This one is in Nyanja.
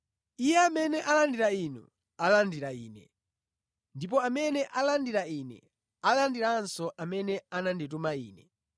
“Iye amene alandira inu alandira Ine, ndipo amene alandira Ine alandiranso amene anandituma Ine.